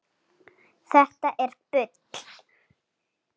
Þetta er bull.